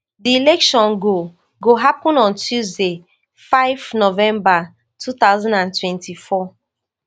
di election go go happun on tuesday five november two thousand and twenty-four